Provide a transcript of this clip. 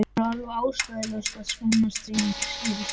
Það er alveg ástæðulaust að skammast sín fyrir slíkt.